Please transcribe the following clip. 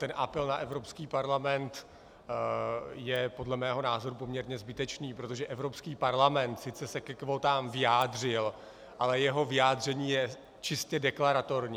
Ten apel na Evropský parlament je podle mého názoru poměrně zbytečný, protože Evropský parlament sice se ke kvótám vyjádřil, ale jeho vyjádření je čistě deklaratorní.